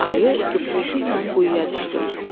Ayı yuupultu ilə quyuya düşdü.